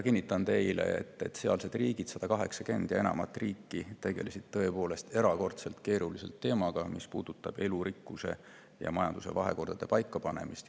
Kinnitan teile, et sealsed riigid, enam kui 180 riiki, tegelesid tõepoolest erakordselt keerulise teemaga, mis puudutab elurikkuse ja majanduse vahekorra paika panemist.